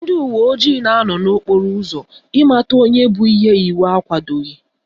Ndị uwe ojii na-anọ n'okporo ụzọ ịmata onye bu ihe iwu akwadoghi